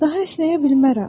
Daha əsnəyə bilmərəm.